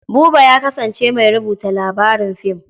Buba ya kasance mai rubuta labarin fim.